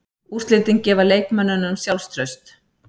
Úrslitin gefa leikmönnunum sjálfstraust.